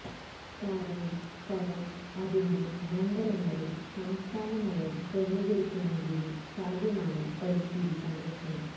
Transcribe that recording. കാരണം ഫലം അതിന്റെ മണ്ഡലങ്ങളിൽ സംസ്ഥാന നയം ക്രമീകരിക്കുന്നതിന് സാധ്യമാണ് പരിസ്ഥിതി സംരക്ഷണം